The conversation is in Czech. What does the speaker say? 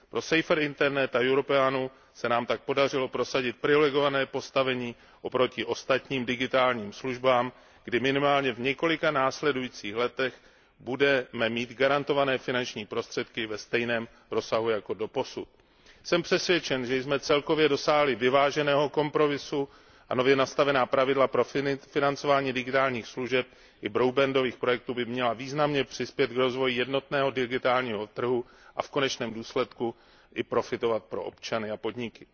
Pro Safer Internet a Europeanu se nám tak podařilo prosadit privilegované postavení oproti ostatním digitálním službám, kdy minimálně v několika následujících letech budeme mít garantované finanční prostředky ve stejném rozsahu jako doposud. Jsem přesvědčen, že jsme celkově dosáhli vyváženého kompromisu. Nově nastavená pravidla pro financování digitálních služeb i broadbandových projektů by měla významně přispět k rozvoji jednotného digitálního trhu a v konečném důsledku přinést prospěch i občanům a podnikům.